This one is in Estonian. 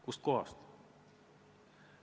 Kust kohast?!